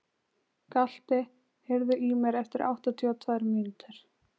Galti, heyrðu í mér eftir áttatíu og tvær mínútur.